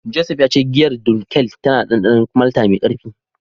Joseph ya ce giyar Dunkel tana da dandanon malta mai karfi.